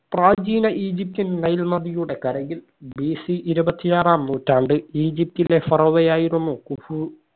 പ്രാചീന ഈജിപ്തിൽ നൈൽ നദിയുടെ കരയിൽ BC ഇരുപത്തിയാറാം നൂറ്റാണ്ട് ഈജിപ്റ്റിലെ ഫറോവയായിരുന്നു കുഫു